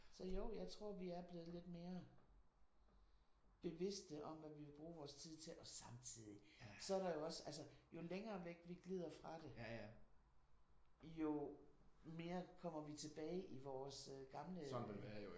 Så jo jeg tror vi er blevet lidt mere bevidste om hvad vi vil bruge vores tid til. Og samtidig så er der jo også altså jo længere væk vi glider fra det jo mere kommer vi tilbage i vores gamle